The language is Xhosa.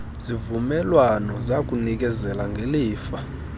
zivumelwano zakunikezela ngelifa